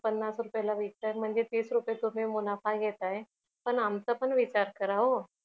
पन्नास रुपयाला विकताय म्हणजे तीस रुपये तुम्ही मुनाफा घेताय पण आमचा पण विचार करा हो